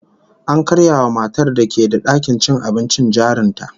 An karya wa matar da ke da dakin cin abincin jarin ta